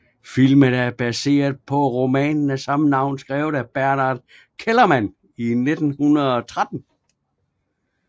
Filmen er baseret på romanen af samme navn skrevet af Bernhard Kellermann i 1913